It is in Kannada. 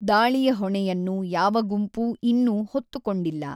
ದಾಳಿಯ ಹೊಣೆಯನ್ನು ಯಾವ ಗುಂಪೂ ಇನ್ನೂ ಹೊತ್ತುಕೊಂಡಿಲ್ಲ.